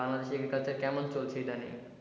বাংলাদেশের agriculture কেমন চলছে এইটা নিয়ে